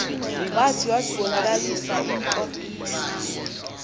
zwathi iwazibonakalisa into